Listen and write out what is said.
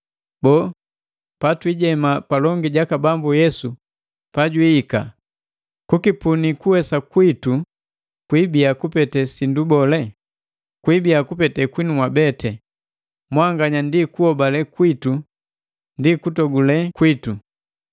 Boo, patwiijema palongi jaka Bambu Yesu pajwiika, kukipuni kuwesa kwitu kwiibia kupete sindu bole? Kwi ibia kupete kwinu mwabete, mwanganya ndi kuhobale kwitu ndi kutogule kwitu.